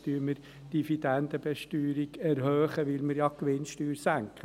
«Jetzt erhöhen wir die Dividendenbesteuerung, weil wir ja die Gewinnsteuer senken.